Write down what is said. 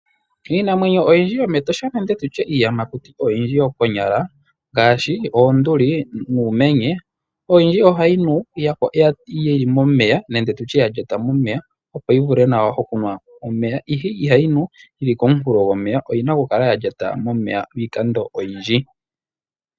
Iinamwenyo oyindji yomEtosha nenge tutye Iiyamakuti oyindji konyala, ngaashi oonduli nuumenye oyindji ohayi nu yili momeya nenge tutye yalyata momeya, opo yivule nawa okunwa omeya. Ihe ihayi nu yili komunkulo gomeya oyina okukala yalyata momeya lwiikando oyindji.